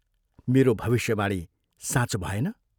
मेरो भविष्यवाणी साँचो भएन।